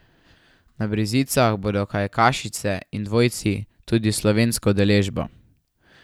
Na brzicah bodo kajakašice in dvojci, tudi s slovensko udeležbo.